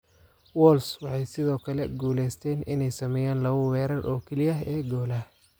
Wolves waxay sidoo kale guuleysteen inay sameeyaan labo weerar oo kaliya ee golaha.